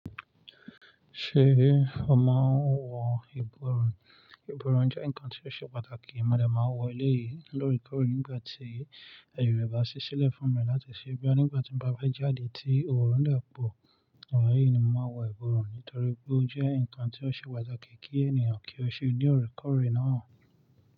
Ṣé o máa ń wọ ìborùn? Ìborùn jẹ́ ǹkan tí ó ṣe pàtàkì, mo de máa n wọ eleyìí lórekore. Nígbà tí aaye re bá ṣí sílẹ̀ fún mi láti ṣe boya nígbà tí mo bá fe jáde tí òorun de pọ̀, igbayi ni mo máa n wọ ìborùn nítorí pé ó jẹ́ ǹkan tí ó ṣe pàtàkì kí ènìyàn kí ó ṣe loorekoore.